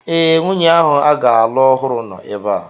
Ee, nwunye ahụ a ga-alụ ọhụrụ nọ ebea